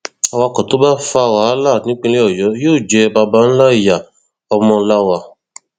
awakọ tó bá fa wàhálà nípìnlẹ ọyọ yóò jẹ baba ńlá ìyá ọmọláwà